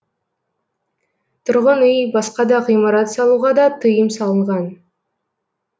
тұрғын үй басқа да ғимарат салуға да тыйым салынған